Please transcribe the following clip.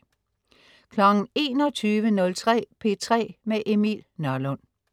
21.03 P3 med Emil Nørlund